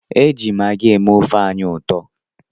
Eji magi eme ofe anyị ụtọ.